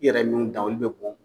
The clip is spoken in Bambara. I yɛrɛ minw dan olu be bɔn